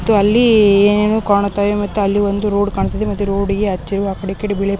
ಮತ್ತು ಏನೇನೋ ಕಾಣುತ್ತಾ ಇದೆ ಮತ್ತೆ ಅಲ್ಲಿ ಒಂದು ರೋಡ್ ಕಾಣುತ್ತಾ ಇದೆ ಮತ್ತೆ ರೋಡಿಗೆ